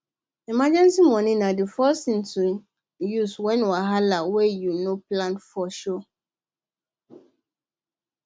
emergency money na the first thing to use when wahala wey you no plan for show face